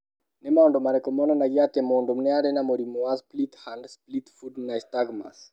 Nĩ maũndũ marĩkũ monanagia atĩ mũndũ arĩ na mũrimũ wa Split hand split foot nystagmus?